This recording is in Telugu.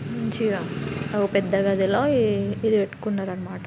మంచిగా ఓ పెద్ద గదిలో ఈ ఇది పెట్టుకున్నారు అన్నమాట.